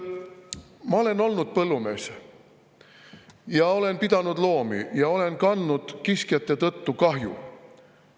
Ma olen olnud põllumees, olen pidanud loomi ja olen kandnud kiskjate tõttu kahju.